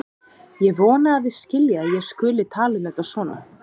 Ég vona að þið skiljið að ég skuli tala um þetta svona.